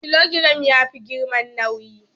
Kilogiram yafi giram nawi.